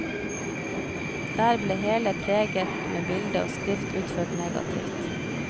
Der ble hele preget med bilde og skrift utført negativt.